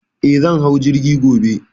Eh, zan hau jirgi gobe.